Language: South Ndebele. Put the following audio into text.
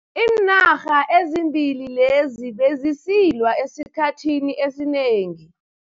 Iinarha ezimbili lezi bezisilwa esikhathini esinengi.